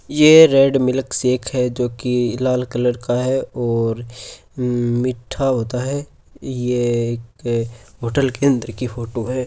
ये red milk shake है जो की लाल कलर का है और मिट्ठा होता है ये एक होटल के अंदर की फोटो है।